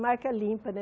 Marca limpa, né?